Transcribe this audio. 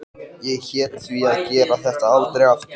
En fyrst ætla ég að skrifa um Kötu.